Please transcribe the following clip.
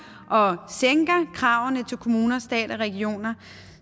og sænker kravene til kommunerne staten og regionerne